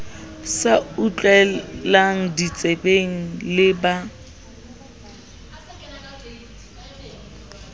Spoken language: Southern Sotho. sa utlweng ditsebeng le ba